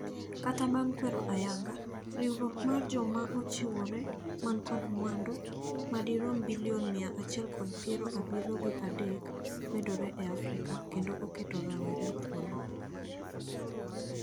Kata bang kwero ayanga ,riwruok mar jomaochiwore man kod mwandu madirom bilion mia achiel kod piero abiriyo gi adek medore e Afrika kendo oketo rowere thuolo.